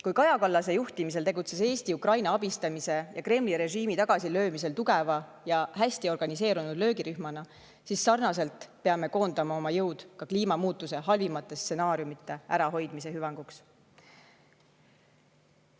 Kui Kaja Kallase juhtimisel tegutses Eesti Ukraina abistamise ja Kremli režiimi tagasilöömisel tugeva ja hästi organiseerunud löögirühmana, siis sarnaselt peame koondama oma jõud ka kliimamuutuse halvimate stsenaariumide ärahoidmise hüvanguks.